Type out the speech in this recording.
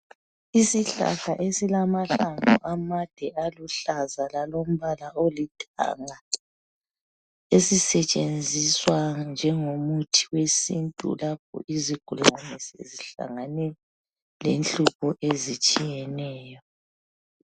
Isihlahla esilamahlamvu amade aluhlaza lalombala olithanga esisetshenziswa njengomuthi wesintu lapho izigulane sezihlangane lenhlupho ezitshiyeneyo